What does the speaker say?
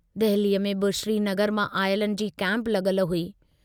दहलीअ में बि श्रीनगर मां आयलनि जी कैम्प लगल हुई।